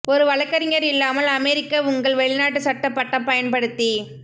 ஒரு வழக்கறிஞர் இல்லாமல் அமெரிக்க உங்கள் வெளிநாட்டு சட்ட பட்டம் பயன்படுத்தி